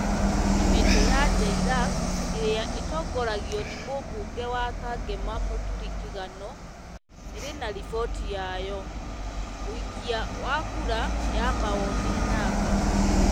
Kamĩtĩ ya JLAC, ĩrĩa ĩtongoragio nĩ mũmbunge wa Kangema Mũturi Kĩgano, ĩrĩ na riboti yayo. ũikia wa kura ya mawoni namba...